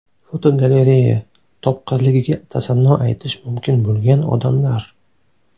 Fotogalereya: Topqirligiga tasanno aytish mumkin bo‘lgan odamlar.